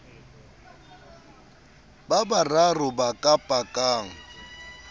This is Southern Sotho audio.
ba bararo ba ka pakang